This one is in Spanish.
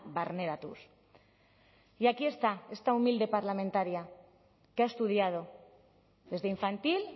barneratuz y aquí está esta humilde parlamentaria que ha estudiado desde infantil